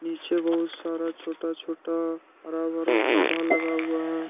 पीछे बहुत सारा छोटा छोटा हरा भरा पौधा लगा हुआ है।